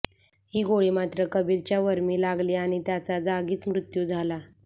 ही गोळी मात्र कबीरच्या वर्मी लागली आणि त्याचा जागीच मृत्यू झाला